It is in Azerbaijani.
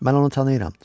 Mən onu tanıyıram.